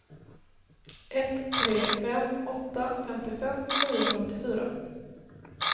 ett tre fem åtta femtiofem niohundraåttiofyra